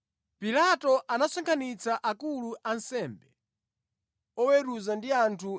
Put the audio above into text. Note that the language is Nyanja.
Pilato anasonkhanitsa akulu a ansembe, oweruza ndi anthu,